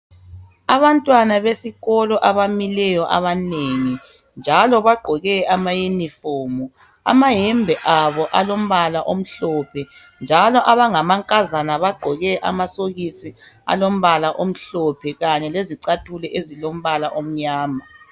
Abantwana besikolo abamileyo abanengi njalo bagqoke amayuniform amayembe abo alombala omhlophe njalo abangamakazana bagqoke amasokisi alombala omhlophe kanye lezicathulo ezilombala omnyama.